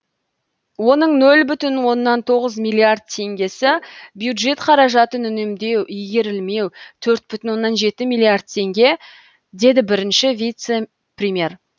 оның нөл бүтін оннан тоғыз миллиард теңгесі бюджет қаражатын үнемдеу игерілмеу төрт бүтін оннан жеті миллиард теңге деді бірінші вице премьер